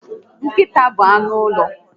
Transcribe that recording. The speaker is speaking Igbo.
Nkịta bụ anụ ụlọ